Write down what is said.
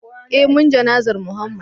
eh mun jana'zar Mohammed